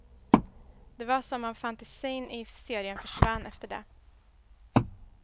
Det var som om fantasin i serien försvann efter det.